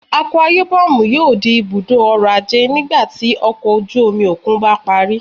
Akwa Ibom yoo di ibudo ọrọ-aje nigbati ọkọ oju-omi okun ba pari